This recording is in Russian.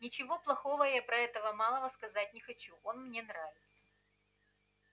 ничего плохого я про этого малого сказать не хочу он мне нравится